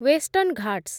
western Ghats